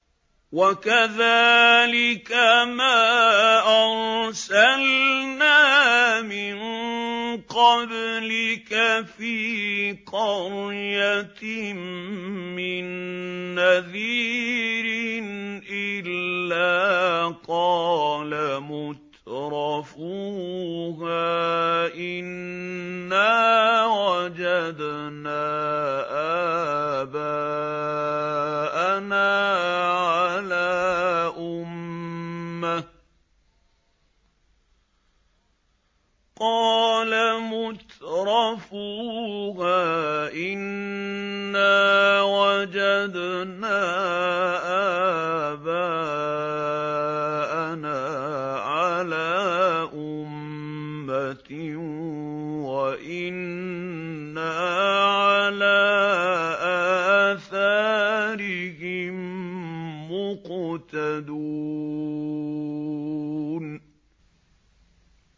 وَكَذَٰلِكَ مَا أَرْسَلْنَا مِن قَبْلِكَ فِي قَرْيَةٍ مِّن نَّذِيرٍ إِلَّا قَالَ مُتْرَفُوهَا إِنَّا وَجَدْنَا آبَاءَنَا عَلَىٰ أُمَّةٍ وَإِنَّا عَلَىٰ آثَارِهِم مُّقْتَدُونَ